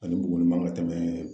Ani Buguni man ŋa tɛmɛɛ